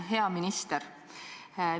Hea minister!